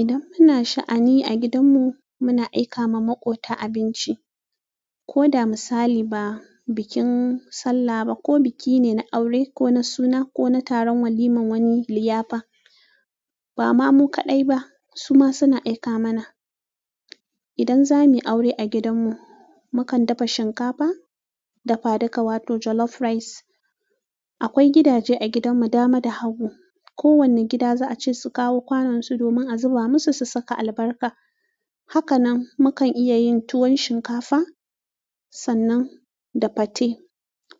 Idan ana sha'ani a gidanmu, muna aika wa maƙota abinci, ko da misali ba bikin sallah ba ko biki ne na aure ko na suna ko na taron waliman wani liyafa. Ba ma mu kaɗai ba, su ma suna aika mana. Idan zamuyi aure a gidan mu mukan dafa shinkafa dafa duka wato jollof rice akwai gidaje a gidanmu, dama da habu. Kowane gida za a ce su kawo kwanansu domin a zuba musu, su saka albarka. Haka nan, mu kan iya yin tuwon shinkafa sannan da fate.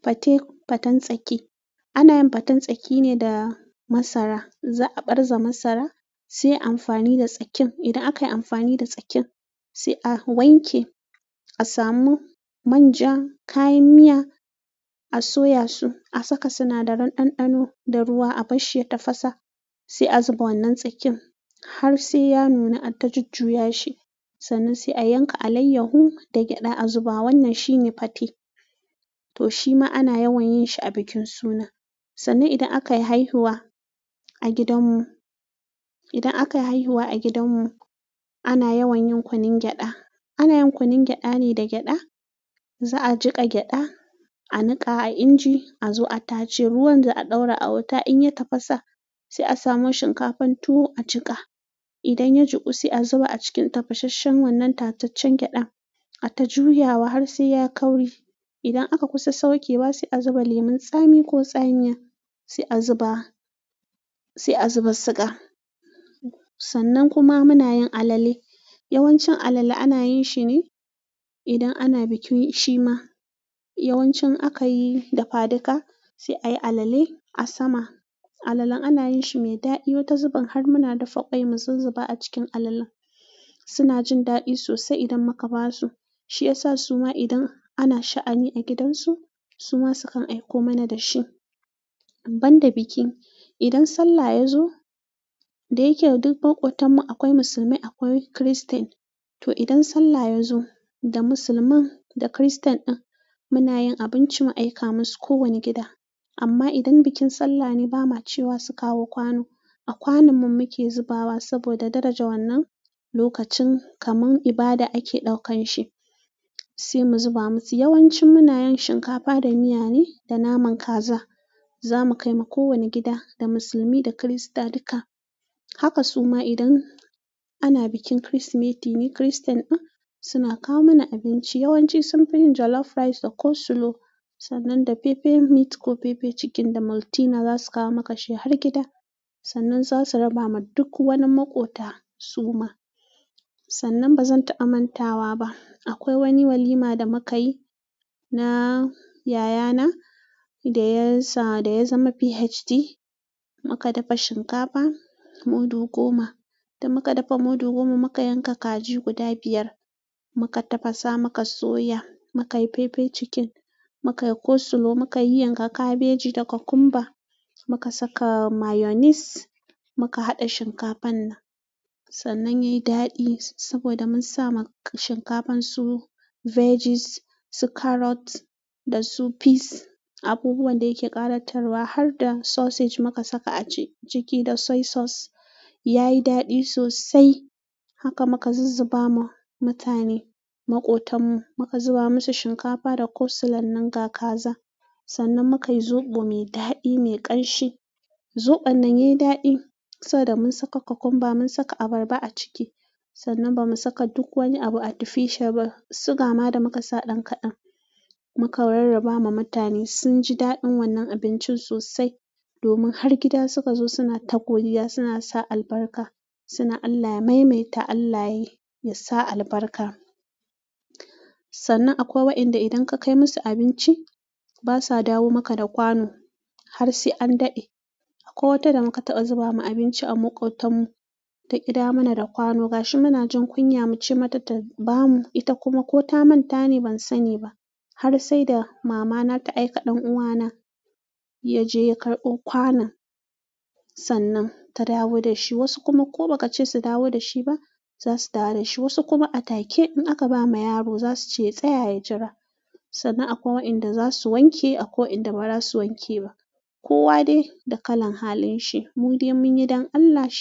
Fate, faten tsaki. Ana yin faten tsaki ne da masara. Za a ɓarza masara sai ayi amfani da tsakin, idan akayi amfani da tsakin sai a wanke asamu manja, kayan miya a soya su, a saka sinadaran ɗanɗano da ruwa a bar shi ya tafasa. Sai a zuba wannan tsakin har sai ya nuna ta jujjuyashi. Sannan sai a yanka alayyahu da gyaɗa a zuba. Wannan shine fate. To shi ma ana yawan yin shi a bikin suna. Sannan idan aka yi haihuwa a gidanmu, idan aka yi haihuwa a gidanmu, ana yawan yin kunun gyaɗa. Ana yin kunun gyaɗa ne da gyaɗa. Za a jiƙa gyaɗa, a niƙa a inji, a zo a tace. Ruwan da a ɗora a wuta in ya tafasa, sai a samu shinkafan tuwo a jiƙa. Idan ya juku, sai a zuba a cikin tafasasshen wannan tataccen gyaɗa, a tajuya har sai ya kauri. Idan aka kusa saukewa, sai a zuba lemun tsami ko tsamiya. Sai a zuba, sai a zuba siga. Sannan kuma muna yin alale. Yawanci alale ana yin shi ne idan ana bikin, shi ma. Yawanci aka yi dafadika sai a yi alale a sama. Alalen ana yin shi mai daɗi wata zubin har muna dafa ƙwai mu zuzzuba a cikin alalen. Suna jin daɗi sosai idan muka ba su. Shi ya sa su ma idan ana sha'ani a gidansu, su ma su kan aiko mana da shi. Banda biki, idan Sallah ya zo, da yake duk maƙotan mu akwai musulmai, akwai Kiristen, to idan Sallah ya zo, da Musulmin da Kiristen din muna yin abinci mu aika musu kowane gida. Amma idan bikin sallah ne, ba ma cewa su kawo kwano. A kwanun mu muke zubawa saboda daraja wannan lokacin, kaman ibada ake ɗaukan shi, sai mu zuba musu. Yawanci muna yin shinkafa da miya ne da naman kaza. Zamu kaima ko wani gida da musulmai da Kirista duks haka, su ma idan ana bikin Kirsimeti ne, Kiristan din suna kawo mana abinci. Yawanci sunfi yin "jollof rice" da "coleslaw", sannan da fefe mit ko fefe cikin da Maltina za su kawo maka shi har gida. Sannan za su raba ma duk wani maƙota suma. Sannan ba zan ta'ammantawa ba. Akwai wani walima damukayi na yayana dasa yazama phd mu ka dafa shinkafa mudu goma. Da muka dafa mudu goma, muka yanka kaji guda biyar. Mu ka tafasa, muka soya, muka yi fefe cikin, muka yi "coleslaw", muka yi yanka kabeji da kwakumba, muka saka mayonis, muka haɗa shinkafan nan. Sannan ya yi daɗi saboda mun sa ma shinkafan su "veggies", su "carrot" da su "peas", abubuwan da ke ƙara tarwa har da "sausage" muka saka a ciki da "soy sauce". Ya yi daɗi sosai. Haka muka zuzzaba ma mutane, maƙotan mu. Mu ka zuba musu shinkafa da "coleslaw" nan ga kaza. Sannan muka yi zoɓo me daɗi, me ƙanshi. Zoɓon nan ya yi daɗi saboda mun saka kwakumba, mun saka abarba a ciki. Sannan ba mu saka duk wani abu a tufisha ba. Suga ma da muka sa ɗan kaɗan. Mu ka rarraba ma mutane. Sun ji daɗin wannan abincin sosai domin har gida suka zo suna tagogiya, suna sa albarka, suna "Allah ya maimaita, Allah ya sa albarka". Sannan akwai wa'inda idan ka kai musu abinci, ba sa dawo maka da kwano har sai an daɗe. Akwai wata da muka taɓa zubawa abinci a maƙotan mu ta ƙida wo mana da kwano. Gashi munajin kunya muce mata tabamu ita kuma koh ta manta ne bansaniba har sai da mama na ta aika ɗan uwa na ya je ya kai ƙwanon. Sannan ta dawo da shi. Wasu kuma ko ba ka ce su dawo da shi ba, za su dawo da shi. Wasu kuma a take. In aka ba ma yaro za su ce yatsaya ya jira". Sannan akwai wa'inda za su wanke, akwai wa'inda ba za su wanke ba. Kowa ne da kalan halin shi. Mu dai mun yi don Allah shi.